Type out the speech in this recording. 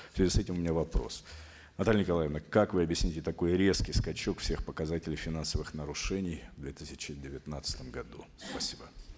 в связи с этим у меня вопрос наталья николаевна как вы объясните такой резкий скачок всех показателей финансовых нарушений в две тысячи девятнадцатом году спасибо